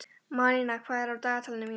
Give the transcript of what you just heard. Malína, hvað er á dagatalinu mínu í dag?